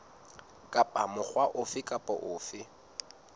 kapa mokga ofe kapa ofe